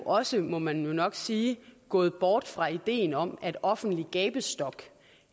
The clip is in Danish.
også må man jo nok sige gået bort fra ideen om at offentlig gabestok